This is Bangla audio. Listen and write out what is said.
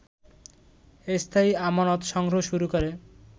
স্থায়ী আমানত সংগ্রহ শুরু করে